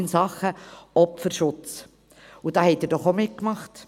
Diesen haben Sie doch auch mitgemacht.